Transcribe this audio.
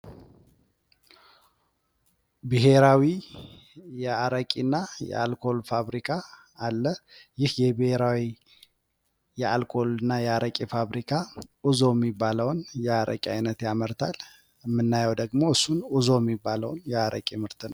ብሔራዊ የአረቂና የአልኮል ፋብሪካ አለ። ይሀ የብሔራዊ የአልኮልና የአረቂ ፋብሪካ ኡዞ እሚባለውን የአረቂ አይነት ያመርታል። እምናየው ደግሞ እሱን ኡዞ እሚባለውን የአረቂ ምርት ነው።